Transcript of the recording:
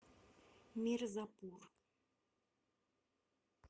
мирзапур